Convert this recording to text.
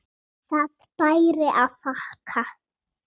Það bæri að þakka.